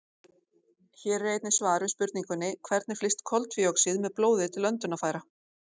Hér er einnig svar við spurningunni: Hvernig flyst koltvíoxíð með blóði til öndunarfæra?